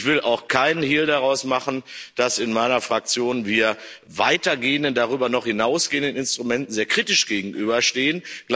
Ich will auch keinen Hehl daraus machen, dass wir in meiner Fraktion weitergehenden, darüber noch hinausgehenden Instrumenten sehr kritisch gegenüberstehen.